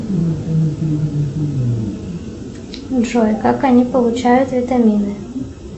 джой как они получают витамины